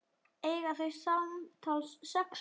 Eiga þau samtals sex börn.